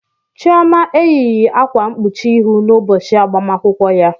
Chioma eyighị akwa mkpuchi ihu n'ụbọchị agbamakwụkwọ ya.